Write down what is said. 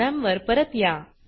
programme वर परत या